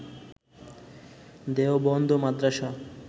Deoband Madrasa